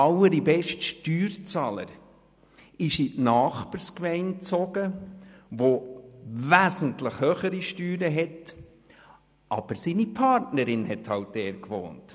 Nein, der allerbeste Steuerzahler zog in die Nachbargemeinde, deren Steuerfuss zwar wesentlich höher ist, aber seine Partnerin wohnt dort.